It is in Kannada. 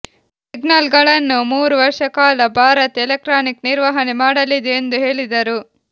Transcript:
ಸಿಗ್ನಲ್ಗಳನ್ನು ಮೂರು ವರ್ಷ ಕಾಲ ಭಾರತ್ ಎಲೆಕ್ಟ್ರಾನಿಕ್ ನಿರ್ವಹಣೆ ಮಾಡಲಿದೆ ಎಂದು ಹೇಳಿದರು